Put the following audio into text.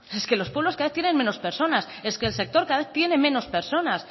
es que los pueblos cada vez tienen menos personas es que el sector cada vez tiene menos personas